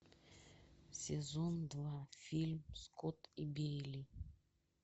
сезон два фильм скотт и бейли